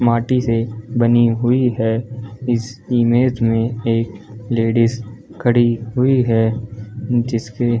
माटी से बनी हुई है इस इमेज में एक लेडीज खड़ी हुई है जिसके --